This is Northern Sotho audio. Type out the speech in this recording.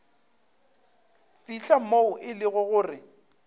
fihla moo e lego gore